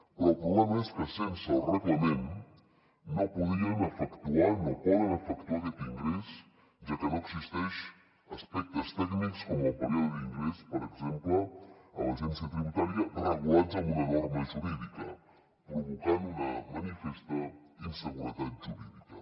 però el problema és que sense el reglament no podien efectuar no poden efectuar aquest ingrés ja que no existeixen aspectes tècnics com el període d’ingrés per exemple a l’agència tributària regulats amb una norma jurídica provocant una manifesta inseguretat jurídica